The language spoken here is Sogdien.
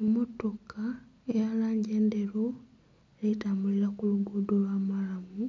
Emmotoka eya langi endheru eri tambulila ku luguudo lwa maalamu